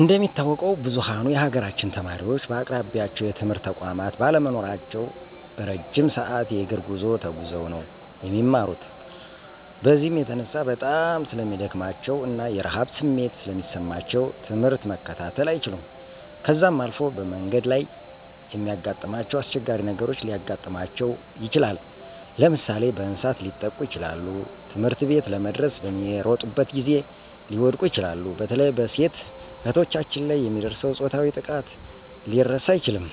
እንደሚታወቀው ብዝኋኑ የሀገራችን ተማሪወች በአቅራቢያቸው የትምህርት ተቋማት ባለመኖራቸው እረጅም ሰዐት የእግር ጉዞ ተጉዘው ነው የሚማሩት። በዚህም የተነሳ በጣም ስለሚደክማቸው እና የረሀብ ስሜት ስለሚሰማቸው ትምህርት መከታተል አይችሉም .ከዛም አልፎ በመንገድ ላይ የሚያጋጥማቸው አስቸጋሪ ነገሮች ሊያጋጥማቸው ይችላል። ለምሳሌ፦ በእንሰሳት ሊጠቁ ይችላሉ, ትምህርትቤት ለመድረስ በሚሮጡበት ጊዜ ሊወድቁ ይችላሉ። በተለይ በሴት እህቶቻችን ላይ የሚደርሰው ፆታዊ ጥቃት ሊረሳ አይችልም